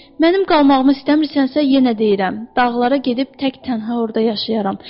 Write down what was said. Mənim qalmağımı istəmirsənsə yenə deyirəm, dağlara gedib tək tənha orda yaşayaram.